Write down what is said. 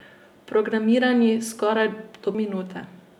Programirani skoraj do minute.